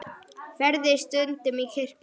Ferðu stundum í kirkju?